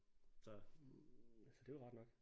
Så det er jo rart nok